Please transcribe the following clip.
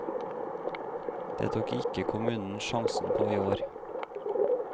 Det tok ikke kommunen sjansen på i år.